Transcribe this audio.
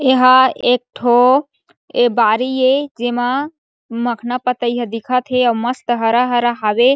एहा एक ठो ये बारी ए एमा मखना पतई ह दिखत हे अउ मस्त हरा-हरा हावे।